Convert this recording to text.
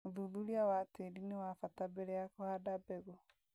ũthuthuria wa tĩri nĩ wa bata mbere ya kũhanda mbegũ